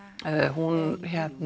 hún